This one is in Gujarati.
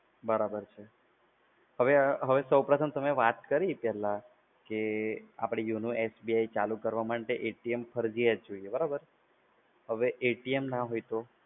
બરાબર છે. હવે સૌપ્રથમ તમે વાત કરી પહેલા આપડે YONO એપ્પ SBI ચાલુ કરવા માટે ફરજિયાત જોઈએ, બરાબર? હવે, ના હોય તો?